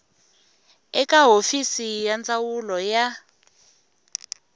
eka hofisi ya ndzawulo ya